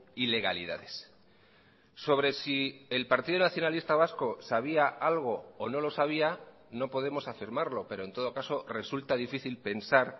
ilegalidades sobre si el partido nacionalista vasco sabía algo o no lo sabía no podemos afirmarlo pero en todo caso resulta difícil pensar